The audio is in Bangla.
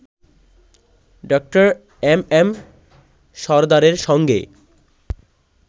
ডা. এম এম সরদারের সঙ্গে